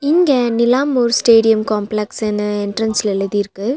இங்க Nilambur stadium complex னு என்ட்ரன்ஸ்ல எழுதிருக்கு.